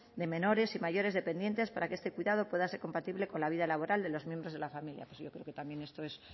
de menores y mayores dependientes para que este cuidado pueda ser compatible con la vida laboral de los miembros de la familia yo creo que también esto es